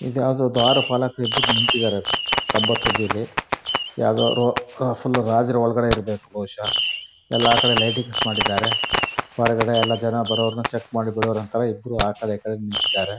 ಇದು ಯಾವುದೊ ದ್ವಾರ ಪಾಲಕರು ಇಬ್ಬರು ನಿಂತಿದಾರೆ ಕಂಬ ತುದೀಲಿ ಯಾವುದೊ ಫುಲ್ ರಾಜರು ಒಳಗಡೆ ಇರ್ಬೇಕು ಬಹುಶಃ. ಎಲ್ಲ ಕಡೆ ಲೈಟಿಂಗ್ಸ್ ಮಾಡಿದಾರೆ. ಹೊರಗಡೆ ಎಲ್ಲ ಜನ ಬರೋವರನ್ನ ಚೆಕ್ ಮಾಡಿ ಬಿಡುವರ್ ತಾರಾ ಆ ಕಡೆ ಈ ಕಡೆ ನಿತ್ತಿದಾರೆ.